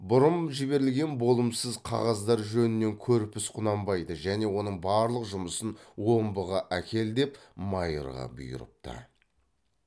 бұрын жіберілген болымсыз қағаздар жөнінен көрпіс құнанбайды және оның барлық жұмысын омбыға әкел деп майырға бұйырыпты